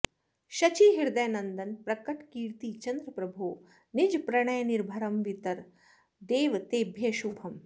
शचीहृदयनन्दन प्रकटकीर्तिचन्द्र प्रभो निजप्रणयनिर्भरं वितर देव तेभ्यः शुभम्